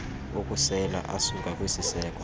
okusela asuka kwisiseko